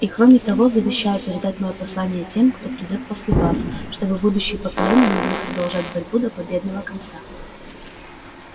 и кроме того завещаю передать моё послание тем кто придёт после вас чтобы будущие поколения могли продолжать борьбу до победного конца